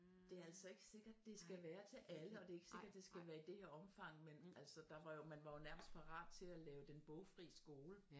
Det er altså ikke sikkert det skal være til alle og det er ikke sikkert det skal være i det her omfang men altså der var jo man var jo nærmest parat til at lave den bogfri skole